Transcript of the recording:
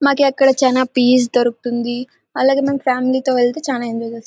మాకు ఇక్కడ చానా పీస్ దొరుకుతుంది. అలాగే మనం ఫ్యామిలీ తో వెళ్తే చాలా ఎంజాయ్ చేస్తాం.